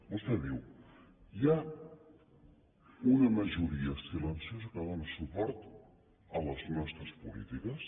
vostè diu hi ha una majoria silenciosa que dóna suport a les nostres polítiques